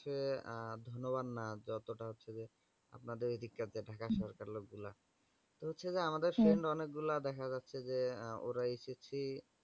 হচ্ছে ধরুন না যতটা হচ্ছে যে আপনাদের ঐদিককার হম ঢাকার থাকার লোকগুলো তো হচ্ছে যে হ্যাঁ তো আমাদের সঙ্গে অনেকগুলা দেখা যাচ্ছে যে ওরা ssc